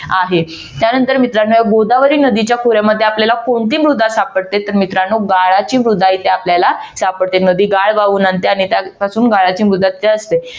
आहे त्यानंतर मित्रांनो या गोदावरी नदीच्या खोऱ्यामध्ये आपल्याला कोणती मृदा सापडते तर मित्रानो गाळाची मृदा इथे आपल्याला सापडते. नदी गाळ वाहून आणते आणि त्यापासून गाळाची मृदा असते.